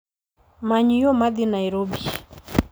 Many yo ma dhi Nairobi